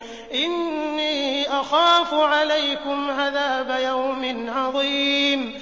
إِنِّي أَخَافُ عَلَيْكُمْ عَذَابَ يَوْمٍ عَظِيمٍ